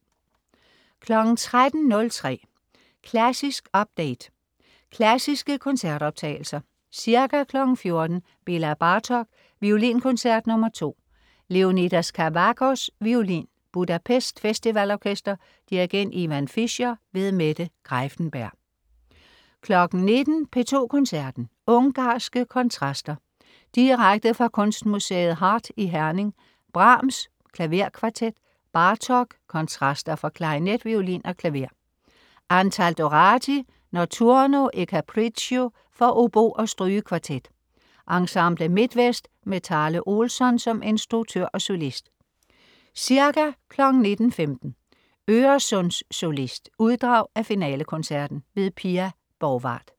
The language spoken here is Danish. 13.03 Klassisk update. Klassiske koncertoptagelser. Ca. 14.00 Béla Bartók: Violinkoncert, nr. 2. Leonidas Kavakos, violin. Budapest Festival Orkester. Dirigent: Ivan Fischer. Mette Greiffenberg 19.00 P2 Koncerten. Ungarske kontraster. Direkte fra Kunstmuseet Heart i Herning. Brahms: Klaverkvartet. Bartók: Kontraster for klarinet, violin og klaver. Antal Doráti: Notturno og Capriccio for obo og strygekvartet. Ensemble Midtvest med Tale Olsson som instruktør og solist. Ca. 19.15 Øresundssolist. Uddrag af finalekoncerten. Pia Borgwardt